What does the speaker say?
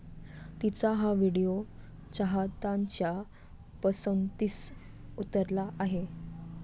तिचा हा व्हिडिओ चाहत्यांच्या पसंतीस उतरला आहे.